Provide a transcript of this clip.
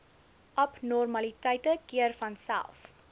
abnormaliteite keer vanself